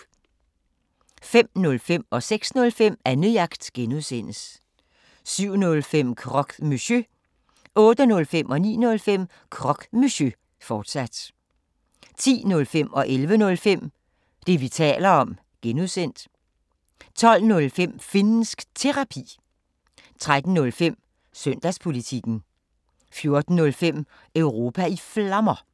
05:05: Annejagt (G) 06:05: Annejagt (G) 07:05: Croque Monsieur 08:05: Croque Monsieur, fortsat 09:05: Croque Monsieur, fortsat 10:05: Det, vi taler om (G) 11:05: Det, vi taler om (G) 12:05: Finnsk Terapi 13:05: Søndagspolitikken 14:05: Europa i Flammer